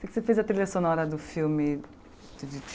Você fez a trilha sonora do filme do Di